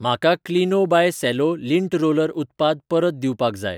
म्हाका Kleeno by Cello lint roller उत्पाद परत दिवपाक जाय